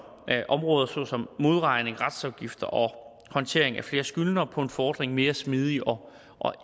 af områder såsom modregning retsafgifter og håndtering af flere skyldnere på én fordring mere smidig og